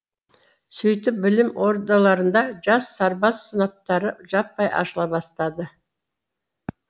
сөйтіп білім ордаларында жас сарбаз сыныптары жаппай ашыла бастады